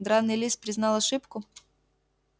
драный лис признал ошибку